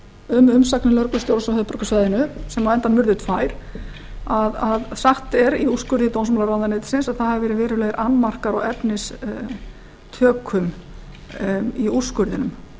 um umsagnir lögreglustjórans á höfuðborgarsvæðinu sem á endanum urðu tvær að sagt er í úrskurði dómsmálaráðuneytisins að það hafi verið verulegir annmarkar á efnistökum í úrskurðinum